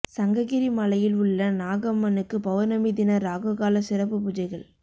சங்ககிரி மலையில் உள்ள நாகம்மனுக்கு பெளா்ணமி தின ராகு கால சிறப்பு பூஜைகள்